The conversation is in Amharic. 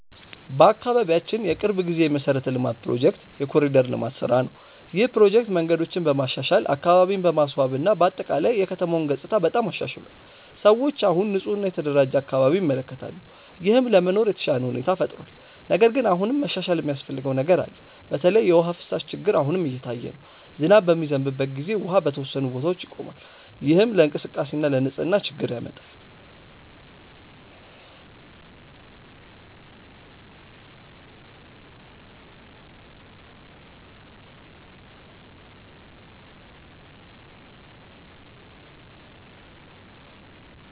በአካባቢያችን የቅርብ ጊዜ የመሠረተ ልማት ፕሮጀክት የ“ኮሪደር ልማት” ስራ ነው። ይህ ፕሮጀክት መንገዶችን በማሻሻል፣ አካባቢን በማስዋብ እና በአጠቃላይ የከተማውን ገጽታ በጣም አሻሽሏል። ሰዎች አሁን ንፁህ እና የተደራጀ አካባቢ ይመለከታሉ፣ ይህም ለመኖር የተሻለ ሁኔታ ፈጥሯል። ነገር ግን አሁንም መሻሻል የሚያስፈልገው ነገር አለ። በተለይ የውሃ ፍሳሽ ችግር አሁንም እየታየ ነው። ዝናብ በሚዘንብበት ጊዜ ውሃ በተወሰኑ ቦታዎች ይቆማል፣ ይህም ለእንቅስቃሴ እና ለንፅህና ችግር ያመጣል።